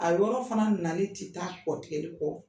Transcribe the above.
A yɔrɔ fana nali tɛ taa kɔ tigɛli kɔ.